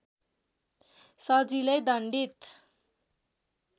सजिलै दण्डित